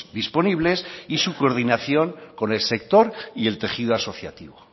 disponibles y su coordinación con el sector y el tejido asociativo